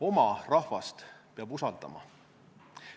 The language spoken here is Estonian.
Oma rahvast peab usaldama.